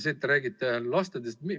Te räägite lastest.